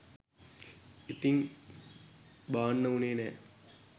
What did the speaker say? ඉතින් බාන්න උනේ නෑ